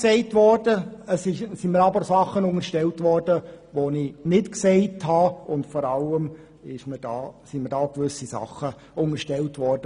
Es sind mir aber Aussagen unterstellt worden, die ich nicht gemacht und gemeint habe.